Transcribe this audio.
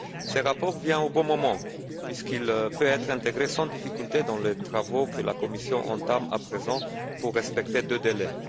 Ce rapport vient au bon moment puisqu'il peut être intégré sans difficulté dans les travaux que la Commission entame à présent pour respecter deux délais.